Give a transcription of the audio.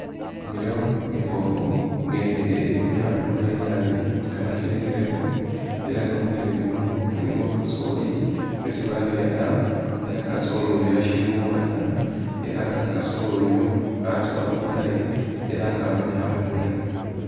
Inimilo imbofu nga inimilo yino ibonekhana bulayi nabi nga bakyilimilemo, era nga munimilo muno mulimo kasoli isi babyala era kasoli uyu ashili umwana era nga kasoli uyu watsowa bulayi era nga abonekha bulayi.